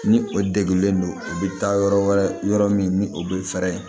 Ni o degilen do u bɛ taa yɔrɔ wɛrɛ yɔrɔ min ni o bɛ fɛɛrɛ